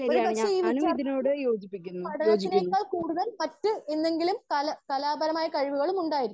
speaker 1 ഒരുപക്ഷെ ഈ വിദ്യാർത്ഥി പഠനതിനേക്കാൾ കൂടുതൽ മറ്റു എന്തെങ്കിലും കലാപരമായ കഴിവുകളും ഉണ്ടായൊരിക്കാം